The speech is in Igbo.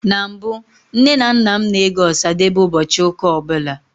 Na mbụ, Nne na nna m na-ege Ọsadebe ụbọchị ụka ọbụla